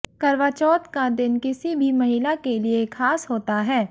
करवाचौथ का दिन किसी भी महिला के लिए खास होता है